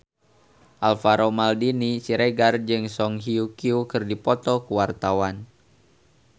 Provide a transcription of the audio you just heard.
Alvaro Maldini Siregar jeung Song Hye Kyo keur dipoto ku wartawan